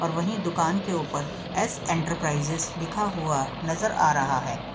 और वही दुकान के ऊपर एस इंटरप्राइजेज लिखा हुआ नजर आ रहा है।